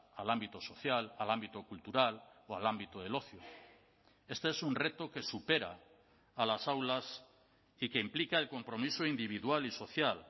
al ámbito social al ámbito cultural o al ámbito del ocio este es un reto que supera a las aulas y que implica el compromiso individual y social